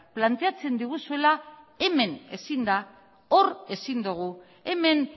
planteatzen diguzuela hemen ezin da hor ezin dugu hemen